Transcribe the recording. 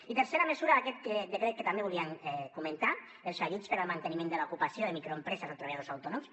i tercera mesura d’aquest decret que també volíem comentar els ajuts per al manteniment de l’ocupació de microempreses o treballadors autònoms